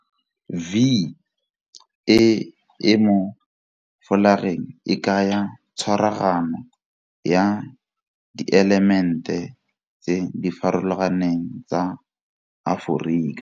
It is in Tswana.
V e e mo folageng e kaya tshwaragano ya dielemente tse di farologaneng tsa Aforika.